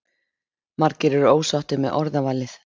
Margir eru ósáttir með orðavalið